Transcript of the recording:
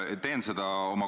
Kõikides nendes.